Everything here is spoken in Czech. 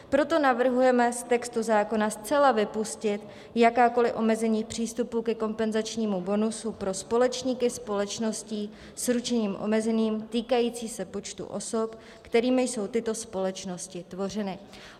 Proto navrhujeme z textu zákona zcela vypustit jakákoli omezení přístupu ke kompenzačnímu bonusu pro společníky společností s ručením omezeným týkající se počtu osob, kterými jsou tyto společnosti tvořeny.